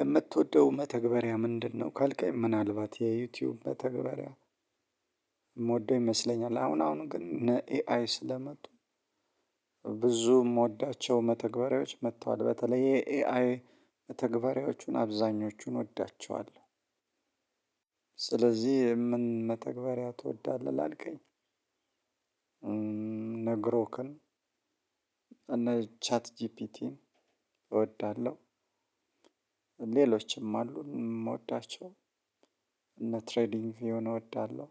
የምትወደው መተግበርያ ምንድነው ካልከኝ ምናልባት የ ዩቱብ መተግበርያ ይመስለኛል አሁን አሁን ግን እነኤአይ ስለመጡ ብዙ የምወዳቸው መተግበሪያዎች መጥተዋል በተለይ የኤአይ መተግበሪያዎቹን አብዛኞቹን እወዳቸዋለሁ። ስለዚህ የምን መተግበሪያ ትወዳለህ ላልከኝ? እነ ግሮክን እነ ቻት ጂፒቲን እወዳለሁ። ሌሎችም አሉ የምወዳቸው። እነ ትሬዲንግ የሆነ እወዳለሁ።